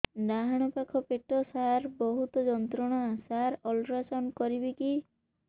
ଡାହାଣ ପାଖ ପେଟ ସାର ବହୁତ ଯନ୍ତ୍ରଣା ସାର ଅଲଟ୍ରାସାଉଣ୍ଡ କରିବି କି